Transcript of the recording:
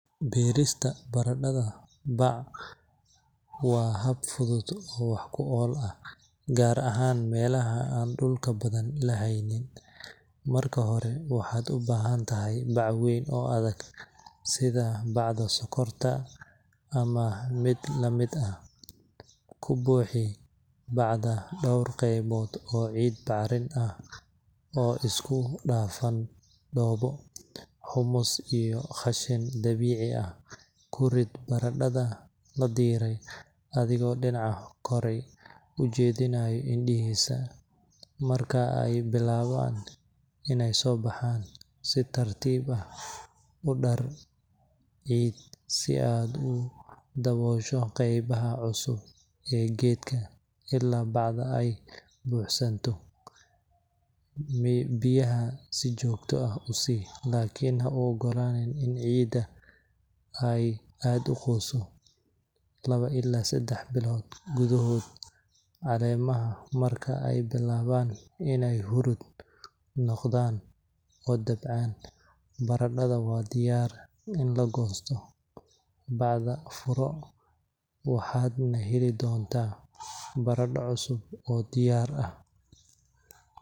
Beerista baradhada bac waa hab fudud oo wax ku ool ah, gaar ahaan meelaha aan dhulka badan la haynin. Marka hore, waxaad u baahan tahay bac weyn oo adag, sida bacda sonkorta ama mid la mid ah. Ku buuxi bacda dhowr qaybood oo ciid bacrin ah oo isku dhafan dhoobo, humus iyo qashin dabiici ah. Ku rid baradhada la dhiray, adigoo dhinaca kore u jeedinaya indhihiisa. Marka ay bilaabaan inay soo baxaan, si tartiib ah u dar ciid si aad u daboosho qaybaha cusub ee geedka ilaa bacda ay buuxsanto. Biyaha si joogto ah u si, laakiin ha u oggolaanin in ciidda ay aad u qoyso. lawo ilaa seddex bilood gudahood, caleemaha marka ay bilaabaan inay huruud noqdaan oo dabcaan, baradhada waa diyaar in la goosto. Bacda furo, waxaadna heli doontaa baradho cusub oo diyaarsan.